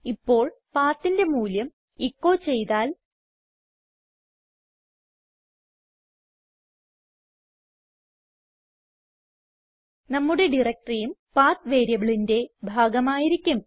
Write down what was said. ഇപ്പോൾ PATHന്റെ മൂല്യം എച്ചോ ചെയ്താൽ നമ്മുടെ directoryയും പത്ത് വേരിയബിളിന്റെ ഭാഗം ആയിരിക്കും